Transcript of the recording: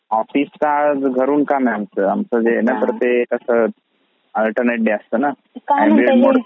office काय घरून काम आहे आमचा ते काय आहे ना आमचा आल्टरनेट डे असता ना आमचा